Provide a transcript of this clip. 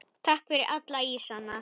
Takk fyrir alla ísana.